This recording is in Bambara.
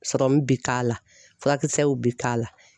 Serɔmu bi k'a la, furakisɛw bi k'a la .